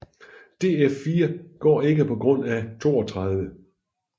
Df4 går ikke på grund af 32